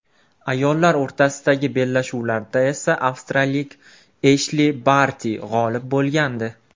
Ayollar o‘rtasidagi bellashuvlarda esa avstraliyalik Eshli Barti g‘olib bo‘lgandi.